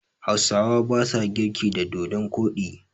Hausawa basa girki da dodon koɗi.